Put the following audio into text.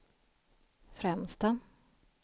främsta